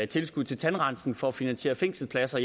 tilskud til tandrensning for at finansiere fængselspladser